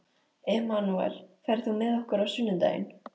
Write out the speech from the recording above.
Emanúel, ferð þú með okkur á sunnudaginn?